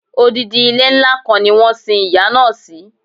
Odidi ilé ńlá kan ni wọ́n sin ìyá náà si